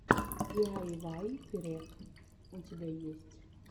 диайвай перек у тебя есть